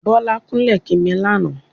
Bọ́lá kúnlẹ̀ kí mi lánàá.